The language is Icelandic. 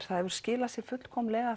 það hefur skilað sér fullkomlega